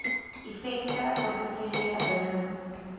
effekte portefeulje benoem